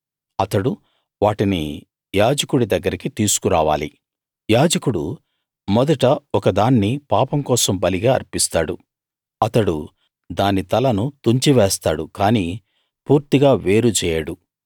అతడు వాటిని యాజకుడి దగ్గరికి తీసుకురావాలి యాజకుడు మొదట ఒకదాన్ని పాపం కోసం బలిగా అర్పిస్తాడు అతడు దాని తలను తుంచి వేస్తాడు కానీ పూర్తిగా వేరు చేయడు